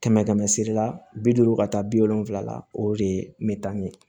Kɛmɛ kɛmɛ sira bi duuru ka taa bi wolonfila o de ye me taa ɲɛ